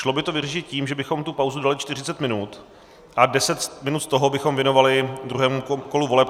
Šlo by to vyřešit tím, že bychom tu pauzu dali 40 minut a 10 minut z toho bychom věnovali druhému kolu voleb.